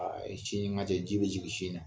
A yi sin ɲuman tɛ ji bi jigin sin na.